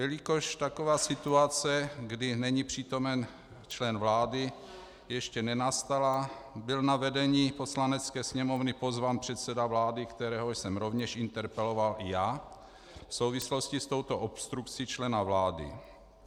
Jelikož taková situace, kdy není přítomen člen vlády, ještě nenastala, byl na vedení Poslanecké sněmovny pozván předseda vlády, kterého jsem rovněž interpeloval i já v souvislosti s touto obstrukcí člena vlády.